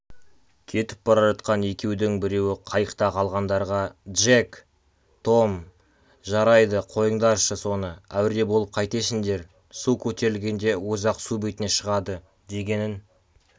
кетіп бара жатқан екеудің біреуі қайықта қалғандарға джек том жарайды қойыңдаршы соны әуре болып қайтесіңдер су көтерілгенде өзі-ақ су бетіне шығады дегенін